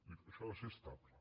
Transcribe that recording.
dic això ha de ser estable